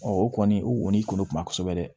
o kɔni o ni kunu kuma kosɛbɛ dɛ